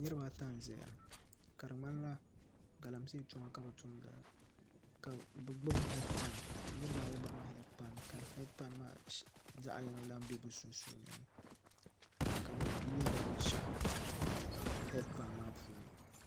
Niraba ata n ʒɛya ka di ŋmanila galamsee tuma ka bi tumda ka bi gbubi heed pai niraba ayi gbubila heed pai ka heed pai maa zaɣ yini lahi bɛ bi sunsuuni ka bi yuundi binshaɣu heed pai maa puuni